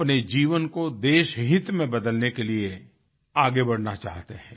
अपने जीवन को देशहित में बदलने के लिए आगे बढ़ना चाहते हैं